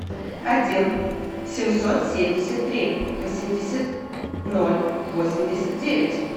один семьсот семьдесят три восемьдесят ноль восемьдесят девять